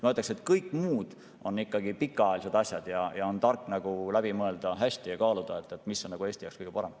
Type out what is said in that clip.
Ma ütleksin, et kõik muud on ikkagi pikaajalised ja tark on hästi läbi mõelda ja kaaluda, mis on Eesti jaoks kõige parem.